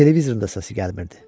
Televizorun da səsi gəlmirdi.